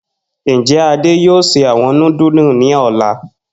Njẹ Ade yoo ṣe awọn nudulu ni ọla?